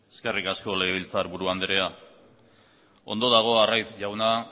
eskerrik asko legebiltzarburu andrea ondo dago arraiz jauna